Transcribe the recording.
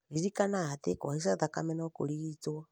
ririkana atĩ kũhaica thakame no kũrigitwo